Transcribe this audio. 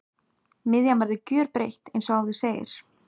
Miðjan verður gjörbreytt eins og áður segir.